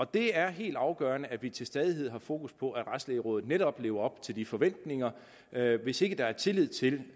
det er helt afgørende at vi til stadighed har fokus på at retslægerådet netop lever op til de forventninger hvis ikke der er tillid til